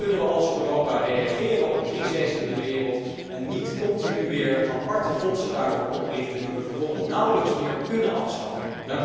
Dan kunnen we als Europa reageren op crises in de wereld en niet continu weer aparte fondsen daarvoor oprichten, die we vervolgens nauwelijks meer kunnen afschaffen.